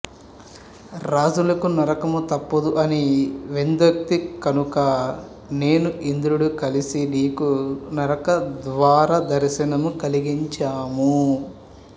రాజులకు నరకము తప్పదు అని వేదోక్తి కనుక నేను ఇంద్రుడు కలసి నీకు నరకద్వార దర్శనము కలిగించాము